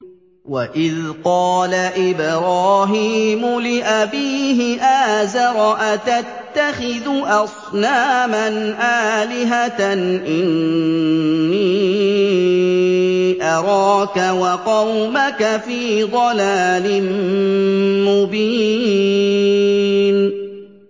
۞ وَإِذْ قَالَ إِبْرَاهِيمُ لِأَبِيهِ آزَرَ أَتَتَّخِذُ أَصْنَامًا آلِهَةً ۖ إِنِّي أَرَاكَ وَقَوْمَكَ فِي ضَلَالٍ مُّبِينٍ